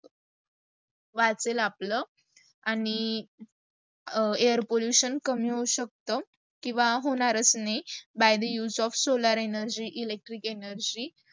वाचेल आपल, आणी air pollution कमी होऊ शकत. किव्वा होणारच नाही by the use of solar energy, electric energy